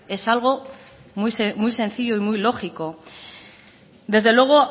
es algo muy sencillo y muy lógico desde luego